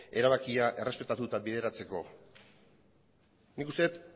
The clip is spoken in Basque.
erabakia errespetatu eta bideratzeko nik uste dut